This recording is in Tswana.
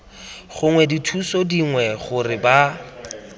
gongwe dithuso dingwe gore ba